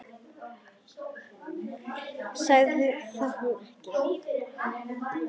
Ég sagði það nú ekki.